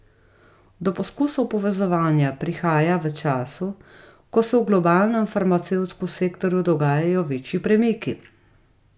Do poskusov povezovanja prihaja v času, ko se v globalnem farmacevtskem sektorju dogajajo večji premiki.